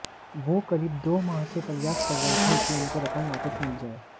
वो करीब दो माह से प्रयास कर रहे थे कि उनको रकम वापस मिल जाए